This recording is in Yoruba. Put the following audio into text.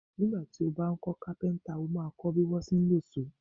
Nígbà tí ó bá ń kọ́ Kápẹ́ńtà, ó máa kọ́ bí wọ́n ti ń lọ sọ́ọ̀.